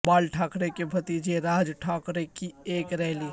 بال ٹھاکرے کے بھتیجے راج ٹھاکرے کی ایک ریلی